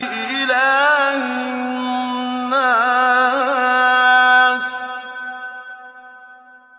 إِلَٰهِ النَّاسِ